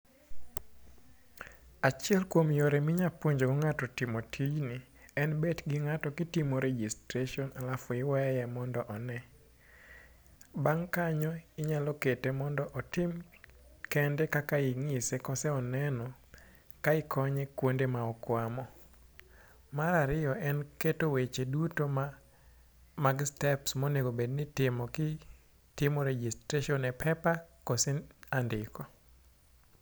Achiel kuom yore minya puonjogo ng'ato timo tijni en bet gi ng'ato kitimo registration alafu iweye mondo one. Bang' kanyo, inyalo kete mondo otim kende kaka ing'ise koseneno ka ikonye kwonde ma okwamo. Mar ariyo en keto weche duto mag steps monego obed nitimo kitimo registration e paper kose andiko.